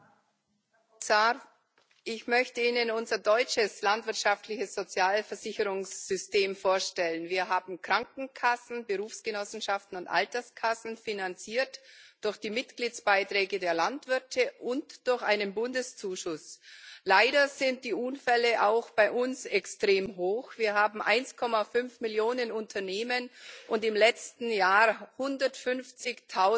Herr Präsident, Herr Kommissar! Ich möchte Ihnen unser deutsches landwirtschaftliches Sozialversicherungssystem vorstellen. Wir haben Krankenkassen, Berufsgenossenschaften und Alterskassen, finanziert durch die Mitgliedsbeiträge der Landwirte und durch einen Bundeszuschuss. Leider sind die Unfälle auch bei uns extrem hoch Wir haben 1,5 Millionen Unternehmen, und im letzten Jahr wurden 150